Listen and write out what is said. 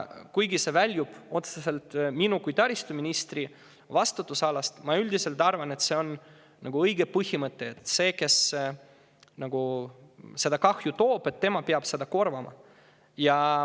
Kuigi see väljub otseselt minu kui taristuministri vastutusalast, ütlen, et ma üldiselt arvan, et see on õige põhimõte: see, kes kahju, peab selle korvama.